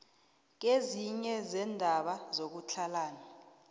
kezinye zeendaba zokutlhalana